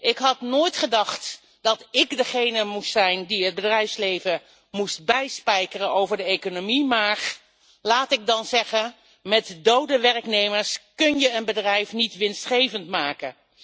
Ik had nooit gedacht dat ik degene moest zijn die het bedrijfsleven moest bijspijkeren over de economie, maar laat ik dan zeggen met dode werknemers kun je een bedrijf niet winstgevend maken.